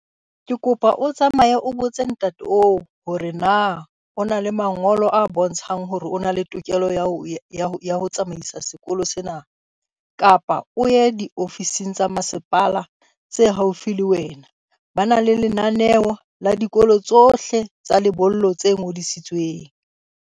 Ke kopa o tsamaye o botse ntate oo hore na o na le mangolo a bontshang hore o na le tokelo ya ho tsamaisa sekolo sena. Kapa o ye di-ofising tsa masepala tse haufi le wena. Ba na le lenaneo la dikolo tsohle tsa lebollo tse ngodisitsweng.